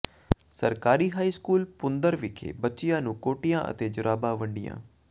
ਸਰਕਾਰੀ high school Bhundar ਵਿਖੇ ਬੱਚਿਆਂ ਨੂੰ ਕੋਟੀਆਂ ਤੇ ਜੁਰਾਬਾਂ ਵੰਡੀਆਂ